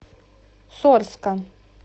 сорска